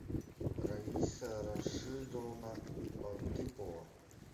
раиса рашидовна латыпова